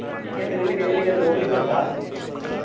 ನಿಂಗೆ ಆದ್ರೆ ಎಲ್ಲಿಗೆ ಎಲ್ಲಿಗೆ ಆದ್ರೆ ಹೋಗಲಿಕ್ ಉಂಟಾ?